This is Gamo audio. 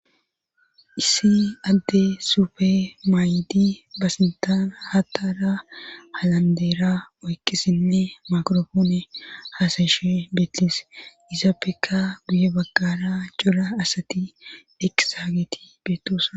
issi adde sufe maayidi basintaana hatara halandeera oykkisinne makorofoone haasayishe beettis izappeka buye baggara jola asati dhekisahageti beettosa